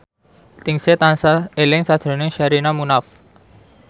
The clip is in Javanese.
Ningsih tansah eling sakjroning Sherina Munaf